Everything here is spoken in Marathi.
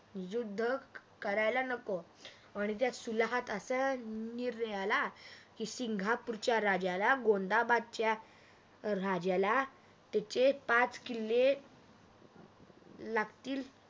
युद्ध करायला नको आणि त्या सालाहात असा निर्ण आला की सिंगापूरच्या राजाला गोंधाबादचा राजाला त्याचे पाच किल्ले लागतील